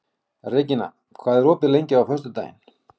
Regína, hvað er opið lengi á föstudaginn?